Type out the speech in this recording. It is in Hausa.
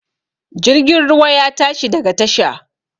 Jirgin ruwa ya tashi daga tasha